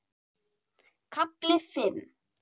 KAFLI FIMM